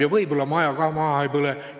Ja äkki ikka maja ka maha ei põle!